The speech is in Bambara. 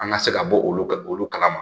An ka se ka bɔ olu ka olu kalama